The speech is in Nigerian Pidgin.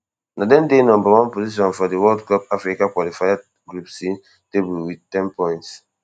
na dem dey number one position for di world cup africa qualifiers group c table wit ten points